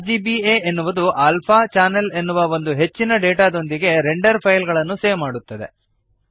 RGBA ಎನ್ನುವುದು alpha channel ಎನ್ನುವ ಒಂದು ಹೆಚ್ಚಿನ ಡೇಟಾದೊಂದಿಗೆ ರೆಂಡರ್ ಫೈಲ್ ಗಳನ್ನು ಸೇವ್ ಮಾಡುತ್ತದೆ